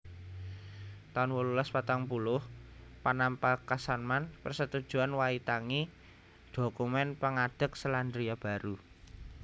taun wolulas patang puluh Panapakasmanan Persetujuan Waitangi dhokumèn pangadeg Selandia Baru